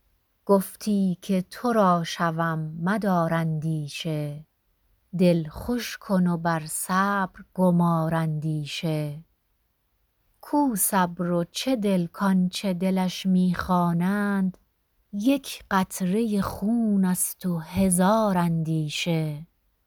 گفتی که تو را شوم مدار اندیشه دل خوش کن و بر صبر گمار اندیشه کو صبر و چه دل کآنچه دلش می خوانند یک قطره خون است و هزار اندیشه